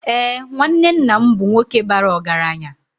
Ee, nwanne nna m bụ nwoke bara ọgaranya.